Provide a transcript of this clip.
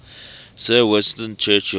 sir winston churchill